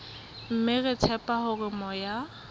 mme re tshepa hore moya